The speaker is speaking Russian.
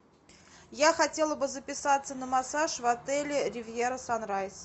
я хотела бы записаться на массаж в отеле ривьера санрайс